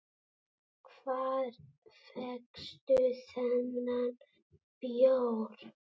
Hvar fékkstu þennan bjór?